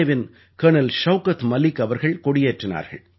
ஏவின் colonel Shaukat Malik அவர்கள் கொடியேற்றினார்கள்